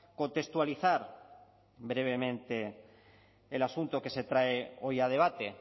contextualizar brevemente el asunto que se trae hoy a debate